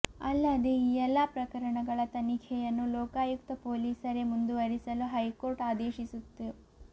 ಅಲ್ಲದೇ ಈ ಎಲ್ಲಾ ಪ್ರಕರಣಗಳ ತನಿಖೆಯನ್ನು ಲೋಕಾಯುಕ್ತ ಪೊಲೀಸರೇ ಮುಂದುವರಿಸಲು ಹೈಕೋರ್ಟ್ ಆದೇಶಿಸಿತ್ತು